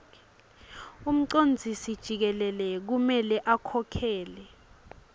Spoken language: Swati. umcondzisijikelele kumele akhokhele